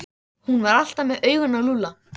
Hún var alltaf með augun á Lúlla.